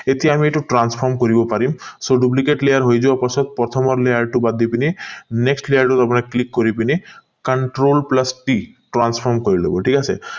এতিয়া আমি এইটো transform কৰিব পাৰিম so duplicate layer হৈ যোৱাৰ পাছত প্ৰথমৰ layer টো বাদ দি পিনি next layer টো আপোনাৰ click কৰি পিনি control plus t transform কৰি লব ঠিক আছে